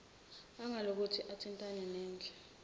angalokothi athintane nendle